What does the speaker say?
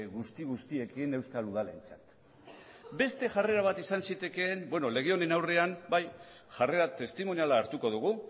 guzti guztiekin euskal udalentzat beste jarrera bat izan zitekeen beno lege honen aurrean bai jarrera testimoniala hartuko dugu